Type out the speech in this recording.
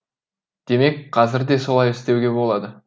демек қазір де солай істеуге болады